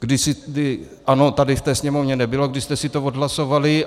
ANO tady v té Sněmovně nebylo, když jste si to odhlasovali.